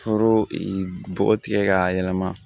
Foro bɔgɔ tigɛ k'a yɛlɛma